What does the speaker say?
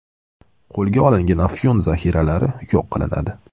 Qo‘lga olingan afyun zaxiralari yo‘q qilinadi.